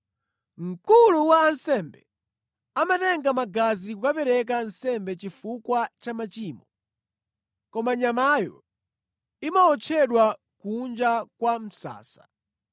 Mkulu wa ansembe amatenga magazi kukapereka nsembe chifukwa cha machimo, koma nyamayo imawotchedwa kunja kwa msasa.